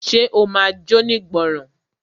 Ṣe o ma jónígbọràn?